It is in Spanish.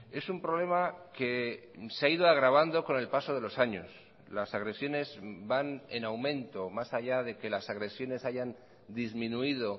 es un problema que se ha ido agravando con el paso de los años las agresiones van en aumento más allá de que las agresiones hayan disminuido